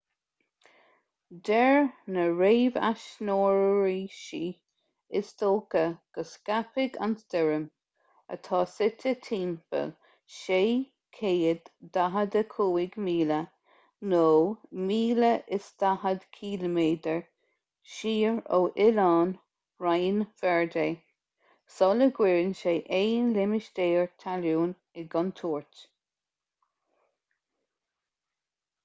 deir na réamhaisnéiseoirí is dócha go scaipfidh an stoirm atá suite timpeall 645 míle 1040 km siar ó oileáin rinn verde sula gcuireann sé aon limistéar talún i gcontúirt